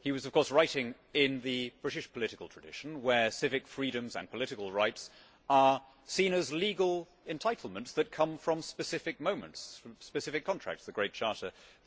He was of course writing in the British political tradition where civic freedoms and political rights are seen as legal entitlements that come from specific moments and specific contracts the Great Charter, the Bill of Rights, or whatever.